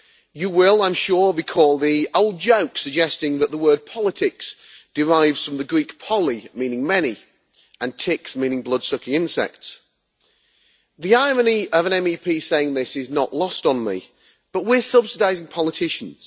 You will, I am sure, recall the old joke suggesting that the word politics' derives from the Greek poly', meaning many', and ticks', meaning blood sucking insects'. The irony of an MEP saying this is not lost on me, but we are subsidising politicians.